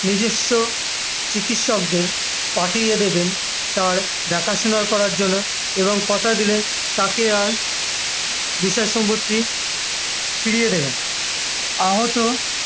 নিজস্ব চিকিৎসকদের পাঠিয়ে দেবেন তার দেখাশোনা করার জন্য এবং কোথা দিলেন তাকে আর বিষয় সম্পত্তি ফিরিয়ে দেবেন আহত